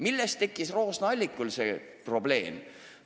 Millest tekkis Roosna-Allikul see probleem?